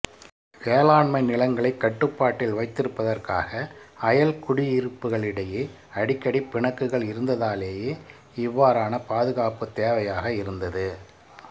வேளாண்மை நிலங்களைக் கட்டுப்பாட்டில் வைத்திருப்பதற்காக அயல் குடியிருப்பக்களிடையே அடிக்கடி பிணக்குகள் இருந்ததாலேயே இவ்வாறான பாதுகாப்புத் தேவையாக இருந்தது